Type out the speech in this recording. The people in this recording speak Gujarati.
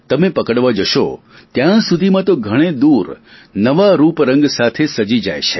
તમે પકડવા જશો ત્યાં સુધીમાં તો ઘણે દૂર નવા રૂપ રંગ સાથે સજી જાય છે